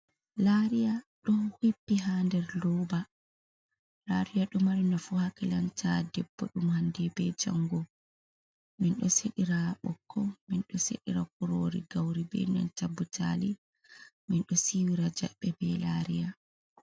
Lariya do hippi ha nder roba, lariya ɗumari nafu ha kilanta debbo ɗum hande be jango, min ɗo seɗira ɓokko, min ɗo seɗira kurori gauri be nan ta butali, min ɗo siwira jaɓɓe be lariya.